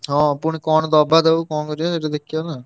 ହଁ ପୁଣି କଣ ଦବା ତାକୁ କଣ କରିଆ ସେଠୁ ଦେଖିଆନା।